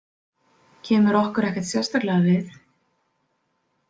Kemur okkur ekkert sérstaklega við.